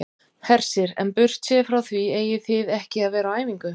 Hersir: En burtséð frá því eigið þið ekki að vera á æfingu?